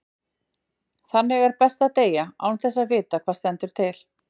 Þannig er best að deyja, án þess að vita hvað stendur til.